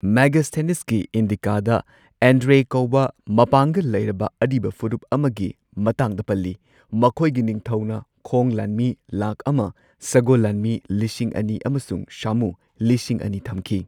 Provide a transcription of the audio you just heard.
ꯃꯦꯒꯥꯁꯊꯦꯅꯤꯁꯀꯤ ꯏꯟꯗꯤꯀꯥꯗ ꯑꯦꯟꯗ꯭ꯔꯦ ꯀꯧꯕ ꯃꯄꯥꯡꯒꯜ ꯂꯩꯔꯕ ꯑꯔꯤꯕ ꯐꯨꯔꯨꯞ ꯑꯃꯒꯤ ꯃꯇꯥꯡꯗ ꯄꯜꯂꯤ, ꯃꯈꯣꯏꯒꯤ ꯅꯤꯡꯊꯧꯅ ꯈꯣꯡ ꯂꯥꯟꯃꯤ ꯂꯥꯈ ꯑꯃ, ꯁꯒꯣꯜ ꯂꯥꯟꯃꯤ ,ꯂꯤꯁꯤꯡ ꯑꯅꯤ ꯑꯃꯁꯨꯡ ꯁꯥꯃꯨ ꯂꯤꯁꯤꯡ ꯑꯅꯤ ꯊꯝꯈꯤ꯫